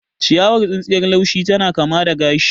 Ciyawar tsintsiyar laushi tana kama da gashi.